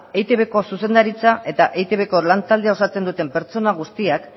eitbko zuzendaritza eta etbko lan taldean osatzen duten pertsona guztiak